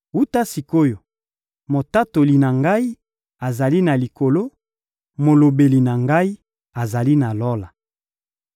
Wuta sik’oyo, motatoli na ngai azali na Likolo, molobeli na ngai azali na Lola.